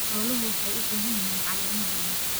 Xooluhu waxay u baahan yihiin caleemo badan.